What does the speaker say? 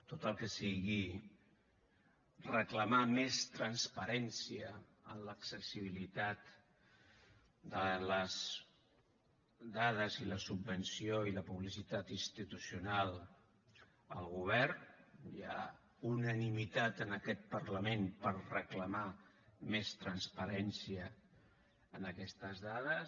tot el que sigui reclamar més transparència en l’accessibilitat de les dades i la subvenció i la publicitat institucional al govern hi ha unanimitat en aquest parlament per reclamar més transparència en aquestes dades